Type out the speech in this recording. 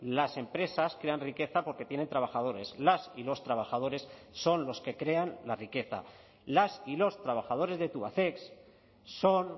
las empresas crean riqueza porque tienen trabajadores las y los trabajadores son los que crean la riqueza las y los trabajadores de tubacex son